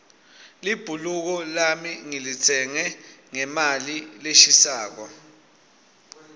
libhuluko lami ngilitsenge ngemali leshisako